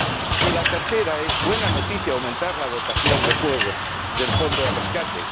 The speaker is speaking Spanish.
Y por último, es buena noticia aumentar la dotación de fuego del fondo de rescate.